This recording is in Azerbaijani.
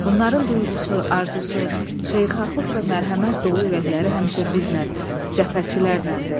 Bunların duyğusu, arzusu, xeyirxahlıq və mərhəmət dolu ürəkləri həmişə bizlə, cəbhəçilərlədir.